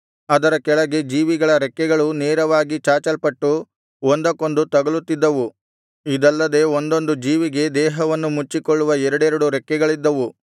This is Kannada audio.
ಅದರ ಕೆಳಗೆ ಜೀವಿಗಳ ರೆಕ್ಕೆಗಳು ನೇರವಾಗಿ ಚಾಚಲ್ಪಟ್ಟು ಒಂದಕ್ಕೊಂದು ತಗಲುತ್ತಿದ್ದವು ಇದಲ್ಲದೆ ಒಂದೊಂದು ಜೀವಿಗೆ ದೇಹವನ್ನು ಮುಚ್ಚಿಕೊಳ್ಳುವ ಎರಡೆರಡು ರೆಕ್ಕೆಗಳಿದ್ದವು